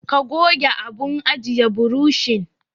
Ka goge abun ajiye burushin.